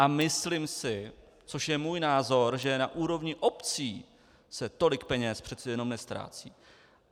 A myslím si, což je můj názor, že na úrovni obcí se tolik peněz přece jenom neztrácí.